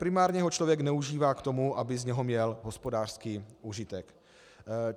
Primárně ho člověk neužívá k tomu, aby z něho měl hospodářský užitek.